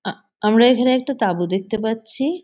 আহ আমরা এখানে একটা তাবু দেখতে পাচ্ছি।